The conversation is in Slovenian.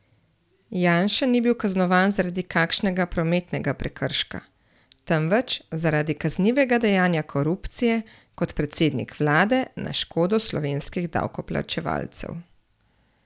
Janša ni bil kaznovan zaradi kakšnega prometnega prekrška, temveč zaradi kaznivega dejanja korupcije kot predsednik vlade na škodo slovenskih davkoplačevalcev!